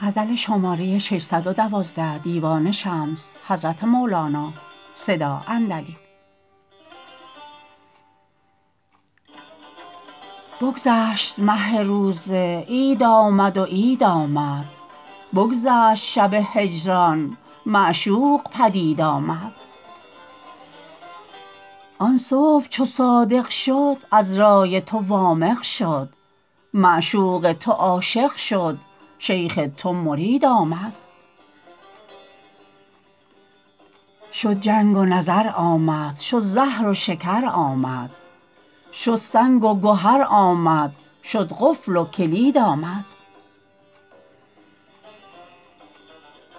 بگذشت مه روزه عید آمد و عید آمد بگذشت شب هجران معشوق پدید آمد آن صبح چو صادق شد عذرای تو وامق شد معشوق تو عاشق شد شیخ تو مرید آمد شد جنگ و نظر آمد شد زهر و شکر آمد شد سنگ و گهر آمد شد قفل و کلید آمد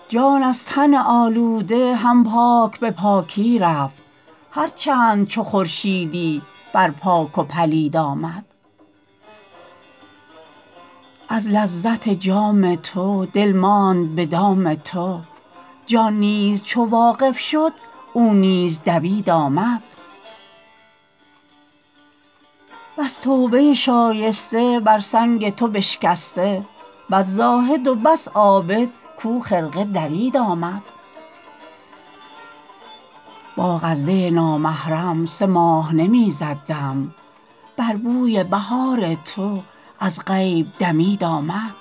جان از تن آلوده هم پاک به پاکی رفت هر چند چو خورشیدی بر پاک و پلید آمد از لذت جام تو دل ماند به دام تو جان نیز چو واقف شد او نیز دوید آمد بس توبه شایسته بر سنگ تو بشکسته بس زاهد و بس عابد کو خرقه درید آمد باغ از دی نامحرم سه ماه نمی زد دم بر بوی بهار تو از غیب دمید آمد